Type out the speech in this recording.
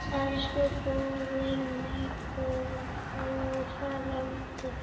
Elsku bróðir, mágur og frændi.